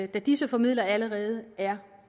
disse formidlere allerede er